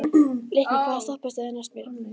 Leikný, hvaða stoppistöð er næst mér?